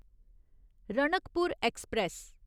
Ranakpur express